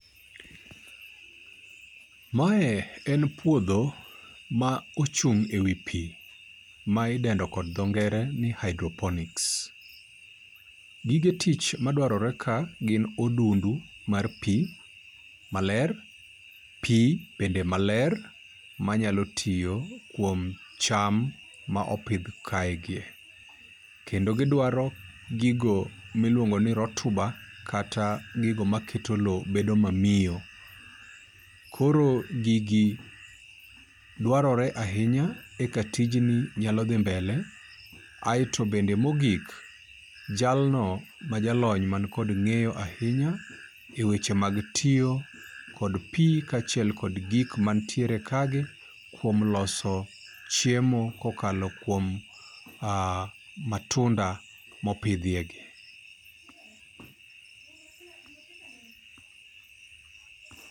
Mae en puodho ma ochung' e wi pii, ma idendo kod dho ngere ni hydroponics. Gige tich madwarore ka gin odundu mar pii maler, pii bende maler manyalo tiyo kuom cham ma opidh ka e gi. Kendo gidwaro gigo miluongo ni rotuba kata gigo maketo lowo bedo mamiyo. Koro gigi dwarore ahinya e ka tijni nyalo dhi mbele. Aeto bende mogik, jalno ma jalony man kod ng'eyo ahinya e weche mag tiyo kod pii ka achiel kod gik mantiere ka gi kuom loso chiemo kokalo kuom matunda mopidhie gi.